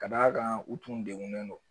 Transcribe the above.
Ka d'a kan u tun degunnen don